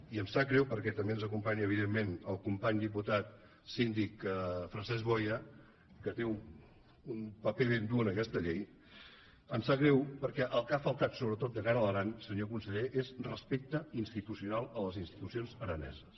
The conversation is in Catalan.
i em sap greu perquè també ens acompanya evidentment el company diputat síndic francesc boya que té un paper ben dur en aquesta llei em sap greu perquè el que ha faltat sobretot de cara a l’aran senyor conseller és respecte institucional a les institucions araneses